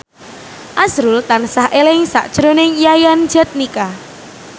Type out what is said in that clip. azrul tansah eling sakjroning Yayan Jatnika